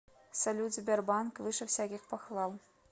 салют сбербанк выше всяких похвал